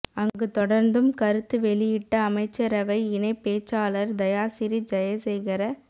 அங்கு தொடர்ந்தும் கருத்து வெளியிட்ட அமைச்சரவை இணைப் பேச்சாளர் தயாசிறி ஜயசேகர